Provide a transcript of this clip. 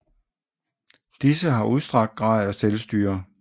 Disse har en udstrakt grad af selvstyre